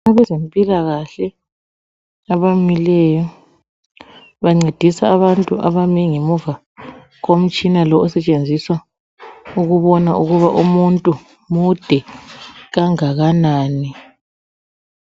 Abezempilakahle abamileyo bancedisa abantu abame ngemuva komtshina lo osetshenziswa ukubona ukuba umuntu made kangakanani.